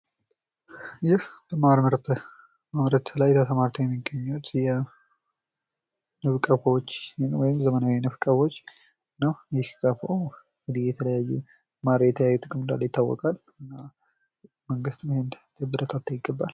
ይህ ማር ምርት፦ ማር በማምረት ላይ የሚገኙት የዘመናዊ ንብ ቀፎዎች ነው እንግዲህ ማር የተለያዩ ጥቅሞች እንዳሉት ይታወቃል እና መንግስት ይህን ሊያበረታታ ይገባል።